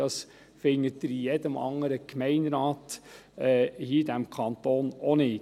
Dies finden Sie in jedem anderen Gemeinderat hier in diesem Kanton auch nicht.